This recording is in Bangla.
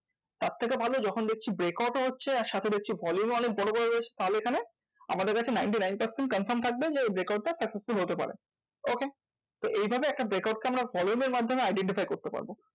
তার থেকে ভালো যখন দেখছি break out ও হচ্ছে আর সাথে দেখছি volume ও অনেক বড়ো বড়ো রয়েছে তাহলে এখানে আমাদের কাছে ninety nine percent confirm থাকবে যে break out টা successful হতে পারে। okay? তো এইভাবে একটা break out কে আমরা volume এর মাধ্যমে identify করতে পারবো।